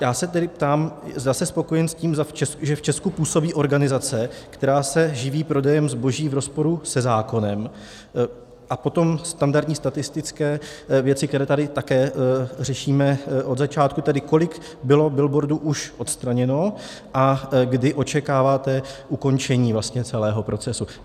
Já se tedy ptám, zda jste spokojen s tím, že v Česku působí organizace, která se živí prodejem zboží v rozporu se zákonem, a potom standardní statistické věci, které tady také řešíme od začátku, tedy kolik bylo billboardů už odstraněno a kdy očekáváte ukončení celého procesu.